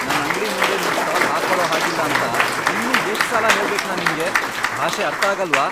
ನನ್ ಅಂಗ್ಡಿ ಮುಂದೆ ನಿಮ್ ಸ್ಟಾಲ್ ಹಾಕೊಳೋ ಹಾಗಿಲ್ಲ ಅಂತ ಇನ್ನೂ ಎಷ್ಟ್ ಸಲ ಹೇಳ್ಬೇಕ್ ನಾನ್ ನಿಮ್ಗೆ?! ಭಾಷೆ ಅರ್ಥಾಗಲ್ವಾ?